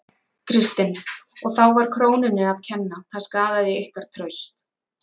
Kristinn: Og þá var krónunni að kenna, það skaðaði ykkar traust?